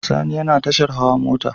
Sani yana tashar hawa mota